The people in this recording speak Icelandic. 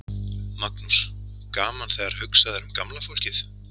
Magnús: Gaman þegar hugsað er um gamla fólkið?